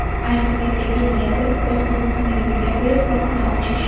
Ayni paytdagi niyatim o‘z biznesimni yo‘lga qo‘yib, korxona ochish.